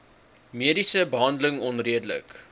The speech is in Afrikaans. mediese behandeling onredelik